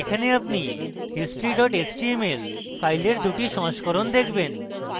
এখানে আপনি history html file দুটি সংস্করণ দেখবেন